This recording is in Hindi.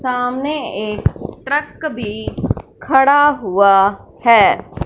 सामने एक ट्रक भी खड़ा हुआ है।